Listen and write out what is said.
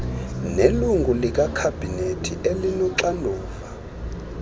nelungu lekhabhinethi elinoxanduva